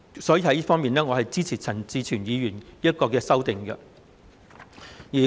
因此，我支持陳志全議員這項修正案。